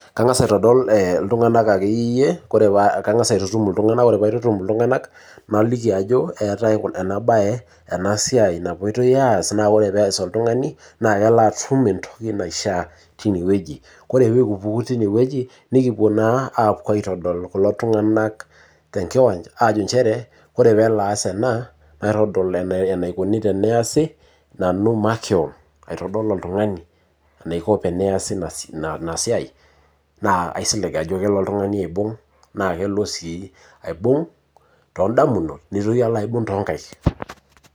Kangas aitodol iltung'anak akeyieyie, ore paa kangas aitutum iltung'anak ore paaitutum iltung'anak naliki ajo eetae ena bae ena siai napoitoy aas naa ore pee eas oltungani naa kelo atum entoki naishiaa tine wueji. Ore pee kipuku tine wueji, nikipuo naa apuo aitodol kulo tunganak tenkiwanja aajo nchere, ore pee elo aas Ena, matodol enaikoni teneasi, nanu makewon aitodol iltung'ani, enaiko teneasi ina siai, naa asilig ajo kelo oltungani aibung naa kelo sii aibung toondamunot nitoki alo aibung toonkaik.